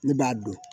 Ne b'a dɔn